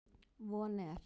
Von er